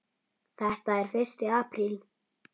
Þetta er fyrsti apríl.